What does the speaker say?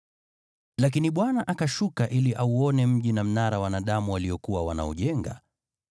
Lakini Bwana akashuka ili auone mji na mnara ambao wanadamu waliokuwa wanaujenga.